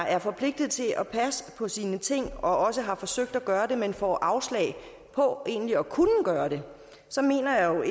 er forpligtet til at passe på sine ting og også har forsøgt at gøre det men får afslag på egentlig at kunne gøre det så mener jeg jo